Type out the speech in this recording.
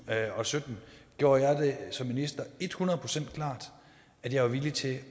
og sytten gjorde jeg det som minister et hundrede procent klart at jeg var villig til